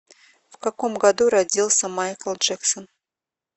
в каком году родился майкл джексон